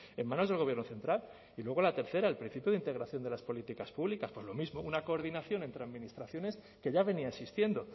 en manos del gobierno central y luego la tercera el principio de integración de las políticas públicas pues lo mismo una coordinación entre administraciones que ya venía existiendo